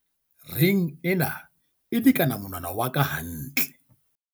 reng ena e lekana monwna wa ka hantle